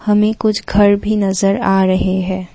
हमें कुछ घर भी नजर आ रहे हैं।